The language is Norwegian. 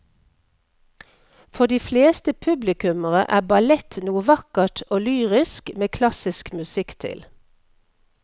For de fleste publikummere er ballett noe vakkert og lyrisk med klassisk musikk til.